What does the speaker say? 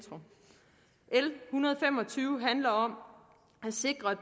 hundrede og fem og tyve handler om at sikre at